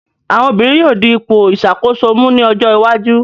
Àwọn obìnrin yóò di ipò ìṣàkóso mú ní ojó iwájú.